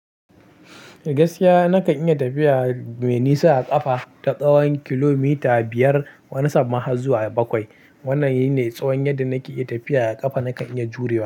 Gaskiya na kan iya tafiya mai nisa a ƙafa, ta tsawon kilomita biyar wani sanma harzuwa bakwai. Wannan shine tsawon yadda na ke iya tafiya a ƙafa na kan iya jurewa.